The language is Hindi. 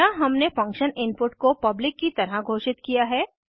यहाँ हमने फंक्शन इनपुट को पब्लिक की तरह घोषित किया है